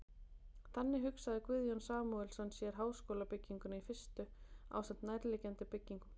Þannig hugsaði Guðjón Samúelsson sér háskólabygginguna í fyrstu ásamt nærliggjandi byggingum.